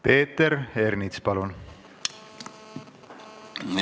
Peeter Ernits, palun!